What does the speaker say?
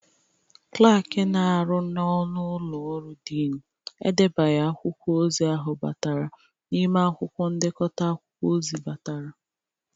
Klakị na-arụ n'ọnụ ụlọ ọrụ dịnị edebaghị akwụkwọ ozi ahụ batara n'ime akwụkwọ ndekọta akwụkwọ ozi batara.